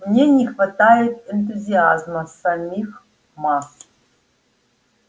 в ней не хватает энтузиазма самих масс